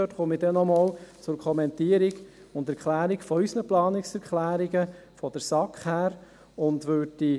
Ich werde dann nochmals zur Kommentierung und Erklärung unserer Planungserklärungen seitens der SAK nach vorne kommen.